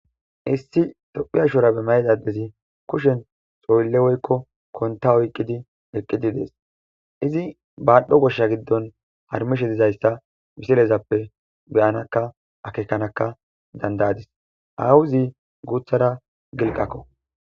Issi tophphya shurabbe mayida adezi kushshen xoyille woyikko kontta oyiqqidi eqqid dess izi badhdho gosha giddon harmmishe dizayissa missilezappe be'anakka akekanakka dandayadis awuzi guthara gilqqakko.